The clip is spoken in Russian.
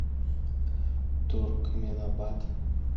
туркменабат